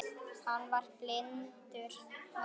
Hann var blindur maður.